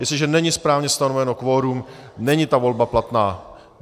Jestliže není správně stanovené kvorum, není ta volba platná.